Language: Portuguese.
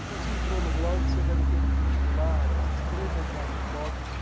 Se você entrou no blog, você deve ter visto lá umas três ou quatro fotos